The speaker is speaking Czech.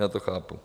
Já to chápu.